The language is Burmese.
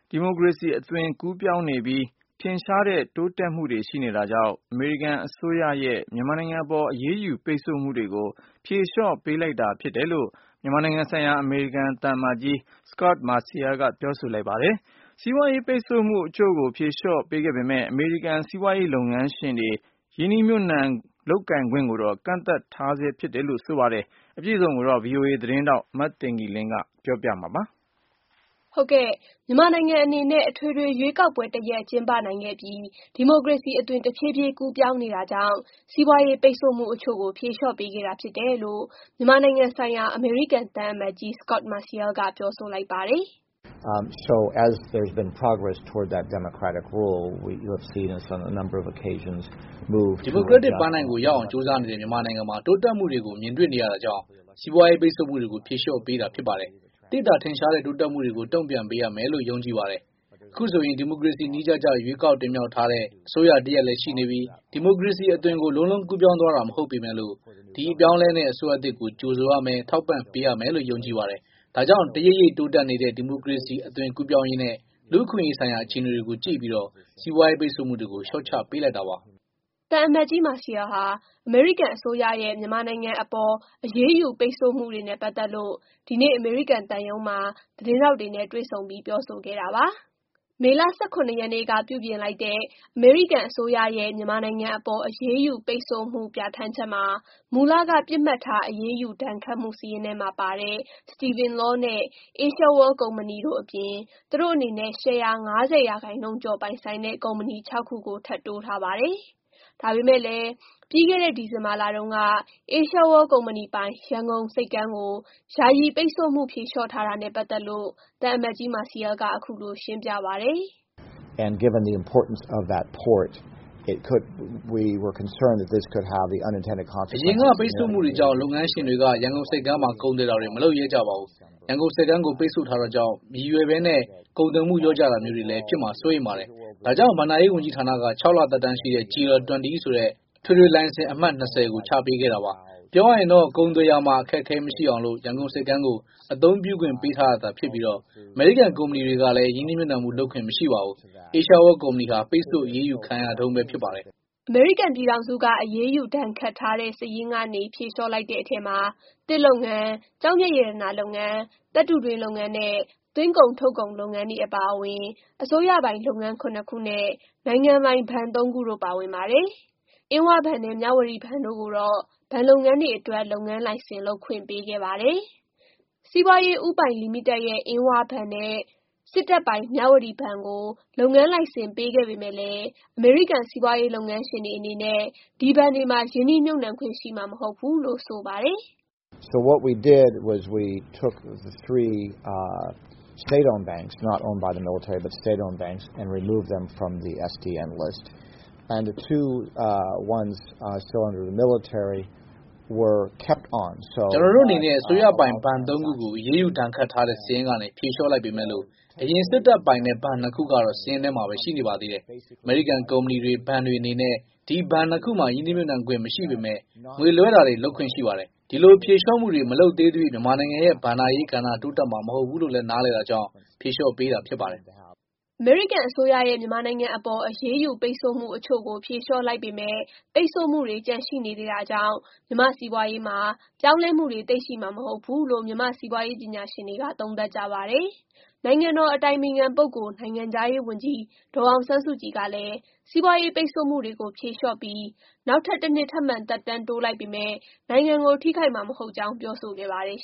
ဒီမိုကရေစီအသွင်ကို သိသိသာသာကူးပြောင်းနေပြီး ထင်ရှားတဲ့ တိုးတက်မှုတွေ ရှိနေတာကြောင့် အမေရိကန်အစိုးရရဲ့ မြန်မာနိုင်ငံအပေါ် အရေးယူ ပိတ်ဆို့မှုတွေကို ဖြေလျော့ပေးလိုက်တာဖြစ်တယ်လို့ မြန်မာနိုင်ငံဆိုင်ရာ အမေရိကန်သံအမတ်ကြီး Scot Marcial က ပြောဆိုလိုက်ပါတယ်။ စီးပွားရေး ပိတ်ဆို့မှုအချို့ကို ဖြေလျော့ပေးခဲ့ပေမယ့်လည်း အမေရိကန်စီးပွားရှင်တွေ ရင်းနှီးမြှုပ်နှံမှုလုပ်ခွင့်ကိုလည်း ကန့်သတ်ထားသေးတယ်လို့ ပြောပါတယ်။ အပြည့်အစုံကို VOA သတင်းထောက် မသိင်္ဂ ီလင်းက ပြောပြပေးပါမယ်။ မြန်မာနိုင်ငံအနေနဲ့ အထွေထွေရွေးကောက်ပွဲတစ်ရပ်ကျင်းပနိုင်ခဲ့ပြီး ဒီမိုကရေစီအသွင် တဖြည်းဖြည်းကူးပြောင်းနေတာကြောင့် စီးပွားရေး ပိတ်ဆို့မှုအချို့ကို ဖြေလျော့ပေးခဲ့တာဖြစ်တယ်လို့ မြန်မာနိုင်ငံဆိုင်ရာအမေရိကန်သံအမတ်ကြီး Scot Marcial က ပြောဆိုလိုက်ပါတယ်။ "ဒီမိုကရက်တစ်ပန်းတိုင်ကို ရောက်အောင် ကြိုးစားနေတဲ့ မြန်မာနိုင်ငံမှာ တိုးတက်မှုတွေကို မြင်တွေ့နေရတာကြောင့် စီးပွားရေး ပိတ်ဆို့မှုတွေ ကို ဖြေလျော့ပေးတာဖြစ်ပါတယ်။ သိသာထင်ရှားတဲ့ တိုးတက်မှုတွေကို တုံ့ပြန်ပေးရမယ်လို့ ယုံကြည်တယ်လေ။ အခုဆိုရင် ဒီမိုကရေစီ နည်းကျကျ ရွေးကောက်တင်မြှောက်ထားတဲ့ အစိုးရတစ်ရပ်လည်းရှိနေပြီ၊ ဒီမိုကရေစီအသွင်ကို လုံးလုံးကူးပြောင်းသွားတာမဟုတ်သေးပေမယ့် ဒီအပြောင်းအလဲနဲ့ အစိုးရသစ်ကို ကြိုဆိုရမယ်၊ ထောက်ပံ့ပေးရမယ်လို့ ယုံကြည်ပါတယ်။ ဒါကြောင့် တရိပ်ရိပ်တိုးတက်လာတဲ့ ဒီမိုကရေစီအသွင် ကူးပြောင်းရေးနဲ့ လူ့အခွင်အရေးဆိုင်ရာ အခြေအနေတွေကို ကြည့်ပြီး စီးပွားရေးပိတ်ဆို့မှုတွေကို လျော့ချပေးလိုက်တာပါ။" သံအမတ်ကြီး Marcial ဟာ အမေရိကန်အစိုးရရဲ့ မြန်မာနိုင်ငံအပေါ် အရေးယူ ပိတ်ဆို့မှုတွေနဲ့ ပတ်သက်လို့ ဒီနေ့ အမေရိကန်သံရုံးမှာ သတင်းထောက်တွေ နဲ့ တွေ့ဆုံပြီး ပြောဆိုခဲ့တာပါ။ မေလ ၁၇ ရက်နေ့က ပြုပြင်လိုက်ရဲ့ အမေရိကန် အစိုးရ၏ မြန်မာနိုင်ငံအပေါ် အရေးယူပိတ်ဆို့မှု ပြဌာန်းချက်မှာ မူလက ပစ်မှတ်ထားအရေးယူဒဏ်ခတ်မှု စာရင်းထဲမှာပါတဲ့ Steven Law နဲ့ Asia World ကုမ္ပဏီ တို့အပြင်၊ သူတို့အနေနဲ့ ရှယ်ယာ ၅၀ ရာခိုင်နှုန်းကျော်ပိုင်ဆိုင်တဲ့ ကုမ္ပဏီ ၆ ခုကို ထပ်တိုးထားပါတယ်။ ဒါပေမယ့်လည်း ပြီးခဲ့တဲ့ ဒီဇင်ဘာလတုန်းက Asia World ကုမ္ဗဏီပိုင် ရန်ကုန်ဆိပ်ကမ်းကို ယာယီပိတ်ဆို့မှုဖြေလျော့ထားတာနဲ့ ပတ်သက်လို့ သံအမတ်ကြီး Marcial က အခုလို ရှင်းပြပါတယ်။ "အရင်က ပိတ်ဆို့မှုကြောင့် လုပ်ငန်းရှင်တွေက ရန်ကုန်ဆိပ်ကမ်းမှာ ကုန်သွယ်တာတွေ မလုပ်ရဲကြပါဘူး။ ရန်ကုန်ဆိပ်ကမ်းကို ပိတ်ဆို့ထားတာကြောင့် မရည်ရွယ်ဘဲနဲ့ ကုန်သွယ်မှုလျော့ကျတာမျိုးတွေ ဖြစ်မှာ စိုးရိမ်ပါတယ်။ ဒါကြောင့် ဘဏ္ဍာရေးဝန်ကြီးဌာနက ၆ လ သက်တမ်းရှိတဲ့ GL-20 ဆိုတဲ့ အထွေထွေ လိုင်စင်အမှတ် ၂၀ ကို ချမှတ်ပေးခဲ့တာပါ။ပြောရရင်တော့ ကုန်သွယ်ရာမှာ အခက်အခဲမရှိအောင် ရန်ကုန်ဆိပ်ကမ်းကို အသုံးပြုခွင့်ပေးထားတာသာဖြစ်ပြီး အမေရိကန် ကုမ္ပဏီတွေကလည်း ရင်းနှီးမြှုပ်နှံမှုလုပ်ခွင့်မရှိပါဘူး။ Asia World ကုမ္ဗဏီဟာ ပိတ်ဆို့အရေးယူခံရတုန်းပဲ ဖြစ်ပါတယ်။" အမေရိကန်ပြည်ထောင်စုက အရေးယူဒဏ်ခတ်ထားတဲ့ စာရင်းကနေ ဖြေလျော့ လိုက်တဲ့ အထဲမှာ သစ်လုပ်ငန်း၊ ကျောက်မျက်ရတနာလုပ်ငန်း၊ သတ္တုတွင်းလုပ်ငန်း နဲ့ သွင်းကုန်ထုတ်ကုန်လုပ်ငန်းတွေ အပါအဝင် အစိုးရပိုင်လုပ်ငန်း ၇ ခုနဲ့ နိုင်ငံပိုင် ဘဏ် သုံးခုတို့ကို ပါဝင်ပါတယ်။ အင်းဝဘဏ်နဲ့ မြဝတီဘဏ်တို့ကိုတော့ ဘဏ်လုပ်ငန်းတွေအတွက် လုပ်ငန်းလိုင်စင် လုပ်ခွင့်ပေးခဲ့ပါတယ်။ စီးပွားရေးဦးပိုင်လိမိတက်ရဲ့ အင်းဝဘဏ်နဲ့ စစ်တပ်ပိုင် မြဝတီဘဏ်ကို လုပ်ငန်းလိုင်စင် ပေးခဲ့ပေမယ့်လည်း အမေရိကန်စီးပွားရေးလုပ်ငန်းရှင်တွေအနေနဲ့ ဒီဘဏ်တွေမှာ ရင်းနှီးမြှုပ်နှံခွင့်ရှိမှာမဟုတ်ဘူးလို့ ဆိုပါတယ်။ "ကျန်နော်တို့အနေနဲ့ အစိုးရပိုင် ဘဏ် ၃ ခုကို အရေးယူဒဏ်ခတ်ထားတဲ့ စာရင်းကနေ ဖြေလျော့လိုက်ပေမယ့် အရင် စစ်တပ်ပိုင်တဲ့ ဘဏ် ၂ ခုကတော့ စာရင်းထဲမှာပဲရှိနေပါသေးတယ်။ အမေရိကန် ကုမ္ဗဏီတွေ၊ ဘဏ်တွေအနေနဲ့ ဒီဘဏ် ၂ ခုမှာ ရင်းနှီးမြှုပ်နှံခွင့်မရှိပေမယ့် ငွေလွှဲတာတွေ လုပ်ခွင့်ရှိပါတယ်။ ဒီလို ဖြေလျော့မှုတွေ မလုပ်သေးသရွေ့ မြန်မာနိုင်ငံရဲ့ ဘဏ္ဍာရေး ကဏ္ဍက တိုးတက်မှာမဟုတ်ဘူးလို့ နားလည်တာကြောင့် ဖြေလျော့ပေးတာဖြစ်ပါတယ်။" အမေရိကန်အစိုးရရဲ့ မြန်မာနိုင်ငံအပေါ် အရေးယူပိတ်ဆို့မှု အချို့ဖြေလျော့ လိုက်ပေမယ့် ပိတ်ဆို့မှုတွေ ကျန်ရှိနေသေး တာကြောင့် မြန်မာ့ စီးပွားရေးမှာ ပြောင်းလဲမှုတွေ သိပ်ရှိမှာမဟုတ်ဘူး လို့ မြန်မာ့စီးပွားရေး ပညာရှင်တွေက သုံးသပ်ကြပါတယ်။ နိုင်ငံတော်အတိုင်ပင်ခံ ပုဂ္ဂိုလ်၊ နိုင်ငံခြားရေးဝန်ကြီး ဒေါ်အောင်ဆန်းစုကြည် ကလည်း စီးပွားရေးပိတ်ဆို့မှုတွေကို ဖြေလျှော့ပြီး နောက်ထပ် ၁ နှစ် ထပ်မံ သက်တမ်းတိုးလိုက်ပေမဲ့ နိုင်ငံကို ထိခိုက်မည် မဟုတ်ကြောင်း ပြောဆိုခဲ့ ပါတယ်